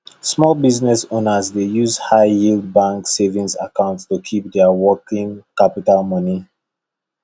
small business owners dey use high yield bank savings account to keep their working capital money